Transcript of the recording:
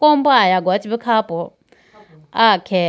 kolomba alagoya che bu kha po aya khe.